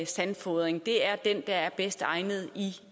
sandfodring det er den der er bedst egnet i